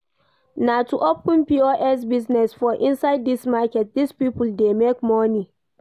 Na to open POS business for inside this market, this people dey make money